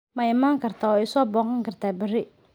Ma iman kartaa oo i soo booqan kartaa berri?